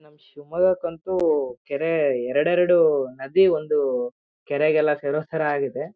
ನಮ್ ಶಿವಮೊಗ್ಗ ಕಂತು ಕೆರೆ ಎರಡು ಎರಡು ನದಿ ಒಂದು ಕೆರೆಗೆಲ್ಲ ಸೇರ್ಸೋತರ ಆಗಿದೆ.